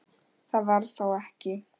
Það var þó ekki.?